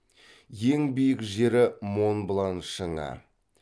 ең биік жері монблан шыңы